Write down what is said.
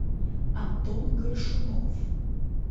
антон горшунов